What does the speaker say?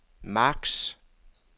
max